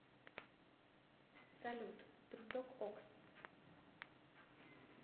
салют приток окс